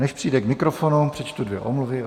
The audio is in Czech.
Než přijde k mikrofonu, přečtu dvě omluvy.